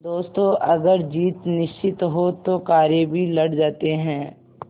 दोस्तों अगर जीत निश्चित हो तो कायर भी लड़ जाते हैं